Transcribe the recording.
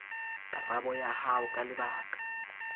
karabo ya hao ka lebaka